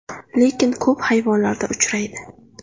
Lekin ko‘p hayvonlarda uchraydi.